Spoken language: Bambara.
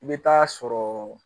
I bɛ taa sɔrɔ